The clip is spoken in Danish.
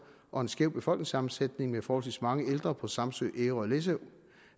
og en skæv befolkningssammensætning med forholdsvis mange ældre på samsø ærø og læsø